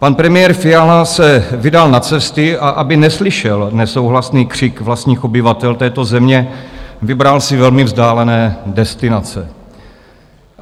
Pan premiér Fiala se vydal na cesty, a aby neslyšel nesouhlasný křik vlastních obyvatel této země, vybral si velmi vzdálené destinace.